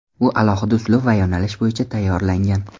U alohida uslub va yo‘nalish bo‘yicha tayyorlangan.